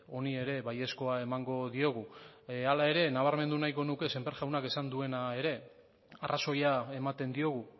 honi ere baiezkoa emango diogu hala ere nabarmendu nahiko nuke sémper jaunak esan duena ere arrazoia ematen diogu